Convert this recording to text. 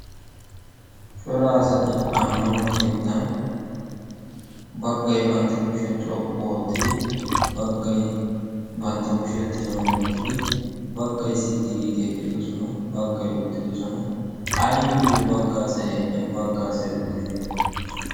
Cora asati ammanuwaa keettan baggay bantta kushiyaa xoqqu oottidi baggay bantta kushiyaa tiran wottidi baggay sitti giidi eqqidosona. Baggay uttidosona. Aybiyyo bagga asay eqqin bagga asay uttide?